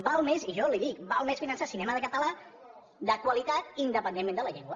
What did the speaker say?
val més i jo li ho dic val més finançar cinema català de qualitat independentment de la llengua